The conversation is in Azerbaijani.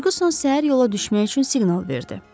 Ferquson səhər yola düşmək üçün siqnal verdi.